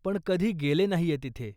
पण कधी गेले नाहीये तिथे.